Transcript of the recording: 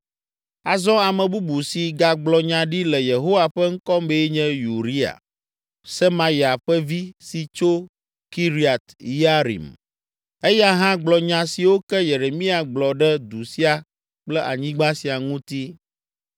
(Azɔ ame bubu si gagblɔ nya ɖi le Yehowa ƒe ŋkɔ mee nye Uria, Semaya ƒe vi si tso Kiriat Yearim. Eya hã gblɔ nya siwo ke Yeremia gblɔ ɖe du sia kple anyigba sia ŋuti.